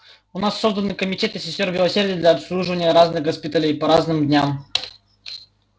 у нас созданы комитеты сестёр милосердия для обслуживания разных госпиталей по разным дням